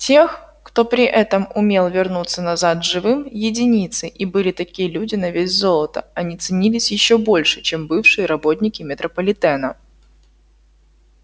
тех кто при этом умел вернуться назад живым единицы и были такие люди на вес золота они ценились ещё больше чем бывшие работники метрополитена